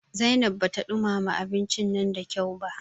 Zainab bata ɗumama abincin nan da kyau ba.